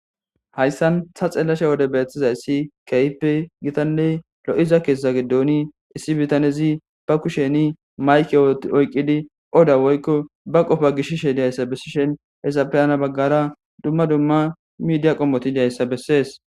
Hayssan sa xellashe wode bethiza issi kaype gitanley lo7iza keesta giddoni issi bitanezi ba kusheni mayke woti oyqqidi oda woyko ba qofa gishishe diyayssa bessishen hezapiyana baggara dumma dumma midiya qommoti diyayssa bessees.